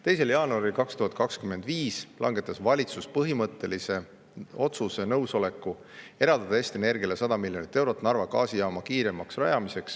2. jaanuaril 2025 langetas valitsus põhimõttelise otsuse ja andis nõusoleku eraldada Eesti Energiale 100 miljonit eurot Narva gaasijaama kiiremaks rajamiseks.